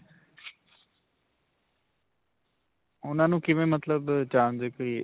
ਉਨ੍ਹਾਂ ਨੂੰ ਕਿਵੇਂ ਮਤਲਬ ਜਾਣਦੇ .